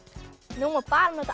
nú má bara nota